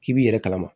K'i b'i yɛrɛ kalama